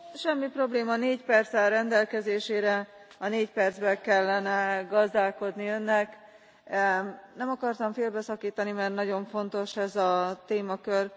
Semmi probléma, négy perc áll rendelkezésére. A négy perccel kellene gazdálkodni Önnek. Nem akartam félbeszakítani, mert nagyon fontos ez a témakör.